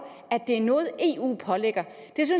at det er noget eu pålægger